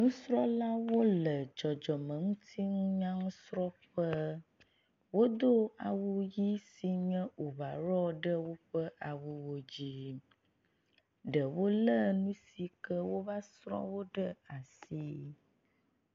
Nufialawo le dzɔdzɔmeŋutinunyasrɔ̃ƒe. Wodo awu dzi si nye ovaɖɔ ɖe woƒe awuwo dzi. Ɖewo le nu si ke woava srɔ̃ wo ɖe asi.